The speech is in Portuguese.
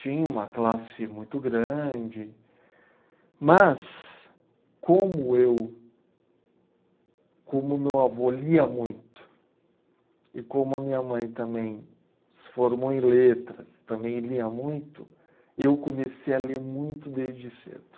Tinha uma classe muito grande, mas como eu, como meu avô lia muito, e como a minha mãe também se formou em letras, também lia muito, eu comecei a ler muito desde cedo.